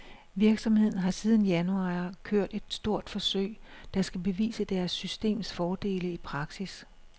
Virksomheden har siden januar i år kørt et stort forsøg, der skal bevise deres systems fordele i praksis.